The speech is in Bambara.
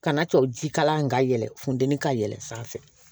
Kana to jikala in ka yɛlɛn funtɛni ka yɛlɛ sanfɛ